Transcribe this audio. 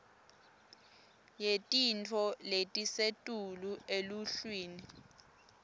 yetintfo letisetulu eluhlwini